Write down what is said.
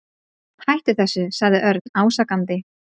Hættu þessu sagði Örn ásakandi.